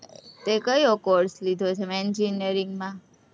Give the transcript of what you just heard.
તે કયો course લીધો છે? engineering માં?